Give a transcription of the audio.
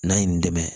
N'a ye nin n dɛmɛ